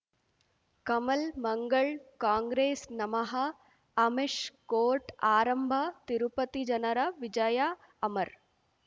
ಕಮಲ್ ಮಂಗಳ್ ಕಾಂಗ್ರೆಸ್ ನಮಃ ಅಮಿಷ್ ಕೋರ್ಟ್ ಆರಂಭ ತಿರುಪತಿ ಜನರ ವಿಜಯ ಅಮರ್